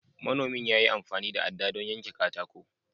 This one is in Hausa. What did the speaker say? Manomin ya yi amfani da aɗɗa don yanke katako.